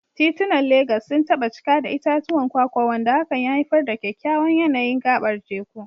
Titunan Legas sun taba cika da itatuwan kwakwa, wanda hakan ya haifar da kyakkyawan yanayin gabar teku.